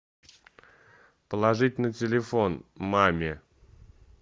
положить на телефон маме